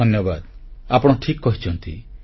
ଧନ୍ୟବାଦ ଆପଣ ଠିକ୍ କହିଛନ୍ତି